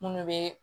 Munnu be